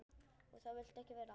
Og það viltu ekki verða.